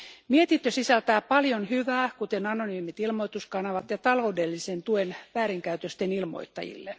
Mietintö sisältää paljon hyvää, kuten anonyymit ilmoituskanavat ja taloudellisen tuen väärinkäytösten ilmoittajille.